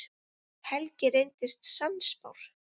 Helgi reynist sannspár.